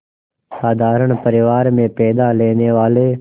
साधारण परिवार में पैदा लेने वाले